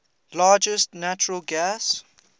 largest natural gas